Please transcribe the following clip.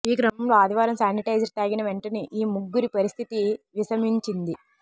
ఈ క్రమంలో ఆదివారం శానిటైజర్ తాగినవెంటనే ఈ ముగ్గురి పరిస్థితి విషమించింది